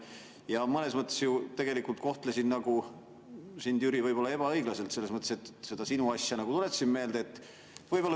Ja mõnes mõttes ju tegelikult kohtlesin sind, Jüri, võib‑olla ebaõiglaselt selles mõttes, et seda sinu asja nagu tuletasin meelde.